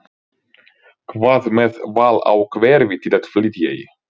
Hvað með val á hverfi til að flytja í?